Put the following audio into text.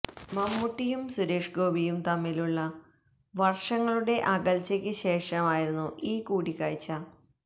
മമ്മൂട്ടിയും സുരേഷ് ഗോപിയും തമ്മിലുള്ള വര്ഷങ്ങളുടെ അകല്ച്ചയ്ക്ക് ശേഷമായിരുന്നു ഈ കൂടികാഴ്ച